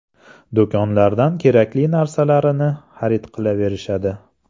Do‘konlardan kerakli narsalarini xarid qilaverishadi.